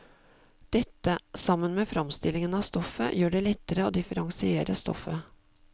Dette, sammen med framstillingen av stoffet, gjør det lettere å differensiere stoffet.